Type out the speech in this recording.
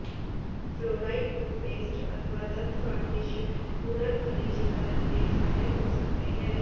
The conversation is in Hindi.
फ्लोराइड टूथपेस्ट अथवा दंत वार्निश पुनर्खनिजीकरण में सहायक हो सकते हैं